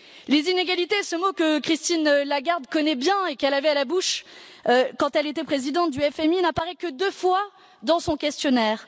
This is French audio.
Les inégalités, ce mot que Christine Lagarde connaît bien et qu'elle avait à la bouche quand elle était présidente du FMI, n'apparaît que deux fois dans son questionnaire.